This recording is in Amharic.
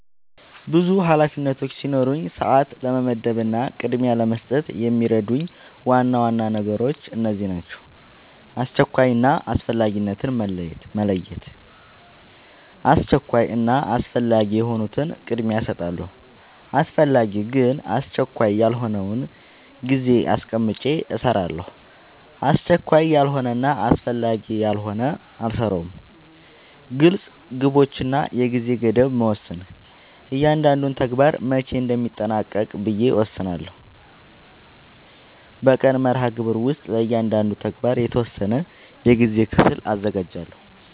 ብዙ ኃላፊነቶች ሲኖሩኝ ሰዓት ለመመደብ እና ቅድሚያ ለመስጠት የሚረዱኝ ዋና ዋና ነገሮች እነዚህ ናቸው :-# አስቸኳይ እና አስፈላጊነትን መለየት:- አስቸኳይ እና አስፈላጊ የሆኑትን ቅድሚያ እሰጣለሁ አስፈላጊ ግን አስቸካይ ያልሆነውን ጊዜ አስቀምጨ እሰራለሁ አስቸካይ ያልሆነና አስፈላጊ ያልሆነ አልሰራውም # ግልፅ ግቦች እና የጊዜ ገደብ መወሰን እያንዳንዱን ተግባር መቼ እንደሚጠናቀቅ ብዬ እወስናለሁ በቀን መርሃግብር ውስጥ ለእያንዳንዱ ተግባር የተወሰነ የጊዜ ክፍል አዘጋጃለሁ